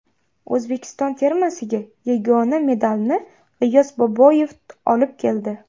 O‘zbekiston termasiga yagona medalni G‘iyos Boboyev olib keldi.